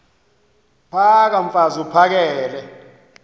phaka mfaz uphakele